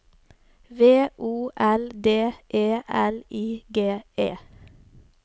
V O L D E L I G E